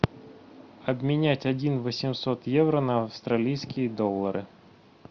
обменять один восемьсот евро на австралийские доллары